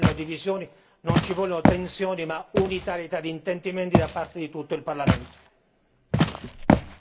Invece rispetto a questo tema non ci vogliono divisioni, non ci vogliono tensioni, ma unitarietà di intendimenti da parte di tutto il Parlamento.